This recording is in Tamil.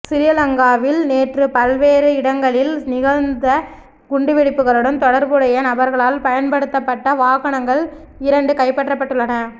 சிறிலங்காவில் நேற்று பல்வேறு இடங்களிலும் நிகழ்ந்த குண்டுவெடிப்புகளுடன் தொடர்புடைய நபர்களால் பயன்படுத்தப்பட்ட வாகனங்கள் இரண்டு கைப்பற்றப்பட்டுள்ளன